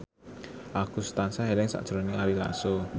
Agus tansah eling sakjroning Ari Lasso